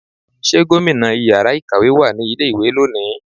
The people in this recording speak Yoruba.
ṣe gómìnà ìyára ikáwe wá ní ilé ìwé loni?